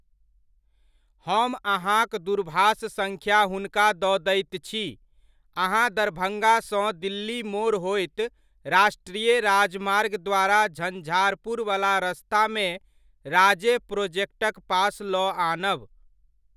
हम अहाॅंक दूरभाष सङ्ख्या हुनका दऽ दैत छी, अहाँ दरभंगासॅं दिल्ली मोड़ होइत राष्ट्रीय राजमार्ग द्वारा झंझारपुरवला रस्तामे राजे प्रोजेक्टक पास लऽ आनब।